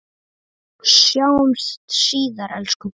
Sjáumst síðar, elsku Gulli.